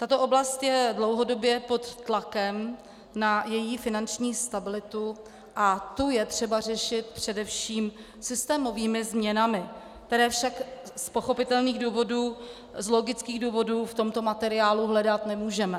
Tato oblast je dlouhodobě pod tlakem na její finanční stabilitu a tu je třeba řešit především systémovými změnami, které však z pochopitelných důvodů, z logických důvodů, v tomto materiálu hledat nemůžeme.